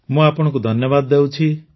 ମୁଁ ଆପଣଙ୍କୁ ଧନ୍ୟବାଦ ଦେଉଛି